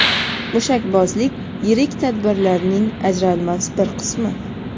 Mushakbozlik yirik tadbirlarning ajralmas bir qismi.